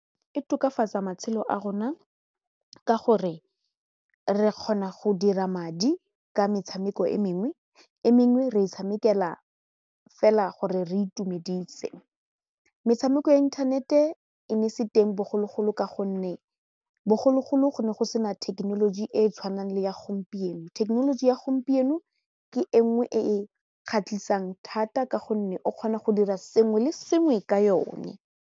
E tokafatsa matshelo a rona ka gore re kgona go dira madi ka metshameko e mengwe e mengwe re e tshamekela fela gore re itumedise, metshameko ya internet e e ne e se teng bogologolo ka gonne bogologolo go ne go sena thekenoloji e e tshwanang le ya gompieno thekenoloji ya gompieno ke e nngwe e e kgatlhisang thata ka gonne o kgona go dira sengwe le sengwe ka yone.